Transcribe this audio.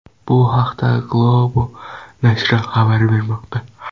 Bu haqda Globo nashri xabar bermoqda .